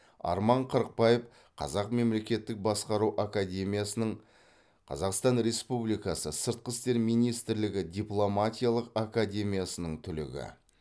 арман қырықбаев қазақ мемлекеттік басқару академиясының қазақстан республикасы сыртқы істер министрлігі дипломатиялық академиясының түлегі